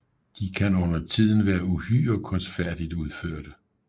De kan undertiden være uhyre kunstfærdigt udførte